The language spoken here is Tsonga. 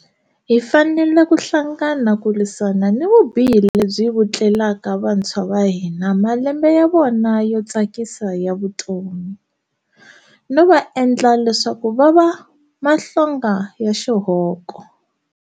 Hi fanele ku hlangana ku lwisana ni vubihi lebyi vutleleka vantshwa va hina malembe ya vona yo tsakisa ya vutomi, no va endla leswaku va va mahlonga ya xihoko.